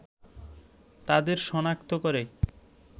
তাদের সনাক্ত করে